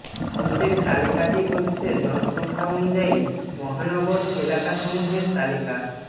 নিচের তালিকাটি হচ্ছে জনসংখ্যা অনুযায়ী মহানগর এলাকা সমূহের তালিকা